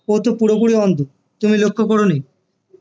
ও তো পুরোপুরি অন্ধ তুমি লক্ষ করোনি